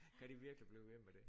Kan de virkelig blive ved med det